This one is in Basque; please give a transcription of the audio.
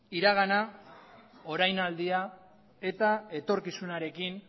iragana orainaldia eta etorkizunarekin